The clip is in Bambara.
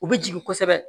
U bɛ jigin kosɛbɛ